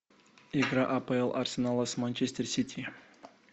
игра апл арсенала с манчестер сити